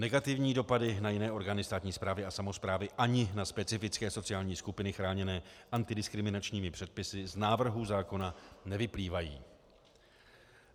Negativní dopady na jiné orgány státní správy a samosprávy ani na specifické sociální skupiny chráněné antidiskriminačními předpisy z návrhu zákona nevyplývají.